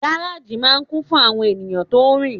Gáràjì máà ń kún fún àwọn èèyàn tó rin